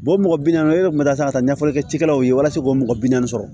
mɔgɔ bi naani e yɛrɛ kun bɛ taa ka taa ɲɛfɔli kɛ cikɛlaw ye walasa k'o mɔgɔ bi naani sɔrɔ